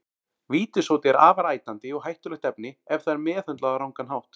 Vítissódi er afar ætandi og hættulegt efni ef það er meðhöndlað á rangan hátt.